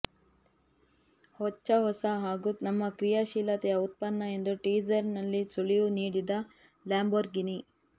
ಹೊಚ್ಚ ಹೊಸ ಹಾಗೂ ನಮ್ಮ ಕ್ರಿಯಾಶೀಲತೆಯ ಉತ್ಪನ್ನ ಎಂದು ಟೀಸರ್ನಲ್ಲಿ ಸುಳಿವು ನೀಡಿದ ಲ್ಯಾಂಬೊರ್ಗಿನಿ